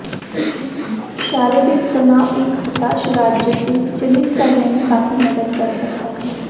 शारीरिक तनाव एक हताश राज्य से विचलित करने में काफी मदद कर सकता है